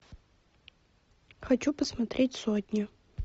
хочу посмотреть сотню